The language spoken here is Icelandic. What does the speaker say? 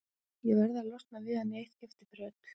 Ég verð að losna við hann í eitt skipti fyrir öll.